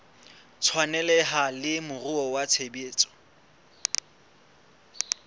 tshwaneleha le moruo wa tshebetso